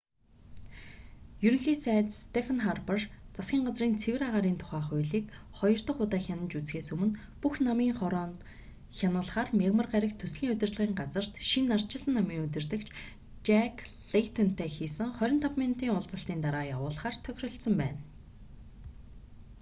ерөнхий сайд стефен харпер засгийн газрын цэвэр агаарын тухай хууль'-ийг хоёр дох удаа хянаж үзэхээс өмнө бүх намын хороонд хянуулахаар мягмар гарагт төслийн удирдлагын газарт шинэ ардчилсан намын удирдагч жак лэйтонтой хийсэн 25 минутын уулзалтын дараа явуулахаар тохиролцсон байна